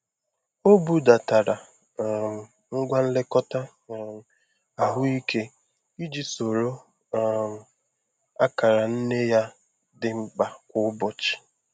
Ọ budatara um ngwa nlekọta um ahụike iji soro um akara nne ya dị mkpa kwa ụbọchị.